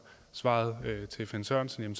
svaret til finn sørensen